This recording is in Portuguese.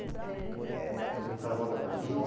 Vamos fazer o carnaval da Bahia.